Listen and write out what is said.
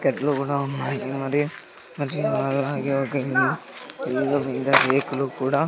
కట్లు కూడా ఉన్నాయి మరియు అలాగే ఒక ఇల్లు ఇల్లు మీద రేకులు కూడా--